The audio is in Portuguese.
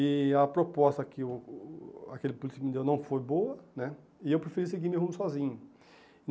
e a proposta que o o aquele político me deu não foi boa né, e eu preferi seguir meu rumo sozinho.